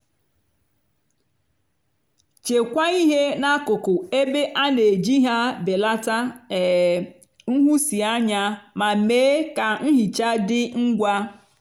chekwaa ihe n'akụkụ ebe a na-eji ha belata um nhụsianya ma mee ka nhicha dị ngwa.